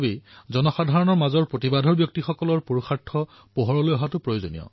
মই আপোনাক সুধিব বিচাৰিছো যে প্ৰতিটো কাৰ্যসূচীৰ পূৰ্বে আপুনি কিমান প্ৰস্তুতি কৰিবলগীয়া হয় ফোন কল সমাপ্ত